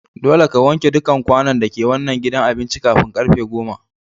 Dolle ka wanke dukan kwanun da ke wanan gidan abincin kafin karfen goma!